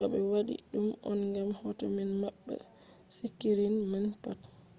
do be wadi dum on gam hoto man mabba sikirin man pat